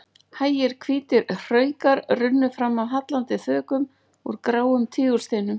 Hægir hvítir hraukar runnu fram af hallandi þökum úr gráum tígulsteinum.